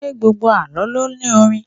Ṣé gbogbo Àlọ́ lo ní orin?